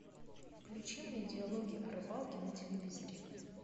включи мне диалоги о рыбалке на телевизоре